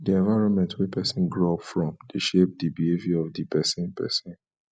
di environment wey person grow up from de shape di behavior of di persin persin